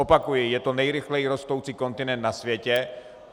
Opakuji, je to nejrychleji rostoucí kontinent na světě.